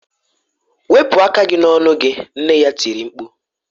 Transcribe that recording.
Wepụ aka gị n'ọnụ gị! nne ya tiri mkpu.